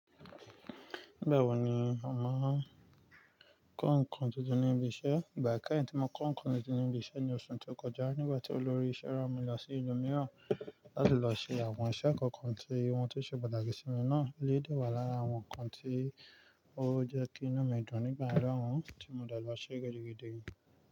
Bẹ́ẹ̀ wà ní, màá kó ǹkan tuntun níbi iṣẹ́. Ìgbà keyin tí mo kó ǹkan tuntun níbi iṣẹ́ ní oṣù tó kọjá, nígbà tí olórí iṣẹ́ rán mi lọ sí ìlú mìíràn láti lọ ṣe àwọn iṣẹ́ kọ̀ọ̀kan tí won tó ṣe pàtàkì sí mi náà elèyi dẹ́ wàá lára àwọn ǹkan tí ó jẹ́ kí inu mi dùn nígbà yen náà, tí mo dà lọ ṣe gidigidi.